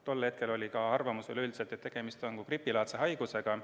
Tol hetkel oli ka arvamus veel üldiselt selline, et tegemist on gripilaadse haigusega.